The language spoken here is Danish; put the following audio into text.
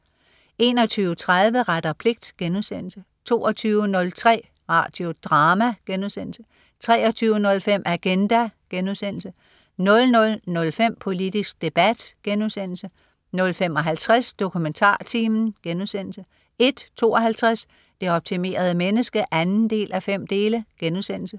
21.30 Ret og pligt* 22.03 Radio Drama* 23.05 Agenda* 00.05 Politisk debat* 00.55 DokumentarTimen* 01.52 Det optimerede menneske 2:5*